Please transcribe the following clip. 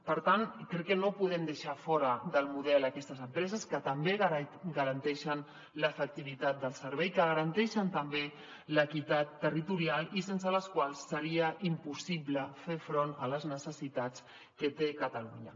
per tant crec que no podem deixar fora del model aquestes empreses que també garanteixen l’efectivitat del servei que garanteixen també l’equitat territorial i sense les quals seria impossible fer front a les necessitats que té catalunya